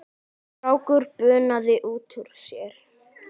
Strákur bunaði út úr sér